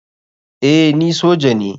Eh ni soja ne.